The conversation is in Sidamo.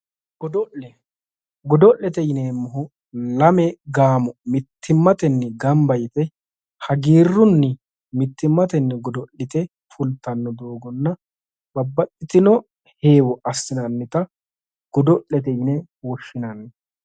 Godo'le ,godo'lete yineemmohu lame gaamo mittimmatenni gamba yite hagiirunni mittimmatenni godo'lite fulittanno doogonna babbaxitino heewo assinannitta godo'lete yinne woshshinanni.